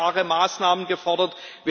Wir haben klare Maßnahmen gefordert.